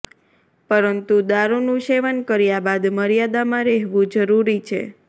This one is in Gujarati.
પરંતુ દારૂનું સેવન કર્યા બાદ મર્યાદામાં રહેવુ જરૂરી છે